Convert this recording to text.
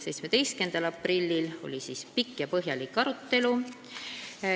17. aprillil oli pikk ja põhjalik arutelu.